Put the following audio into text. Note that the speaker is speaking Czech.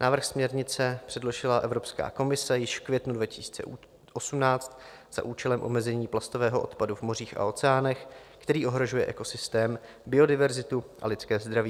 Návrh směrnice předložila Evropská komise již v květnu 2018 za účelem omezení plastového odpadu v mořích a oceánech, který ohrožuje ekosystém, biodiverzitu a lidské zdraví.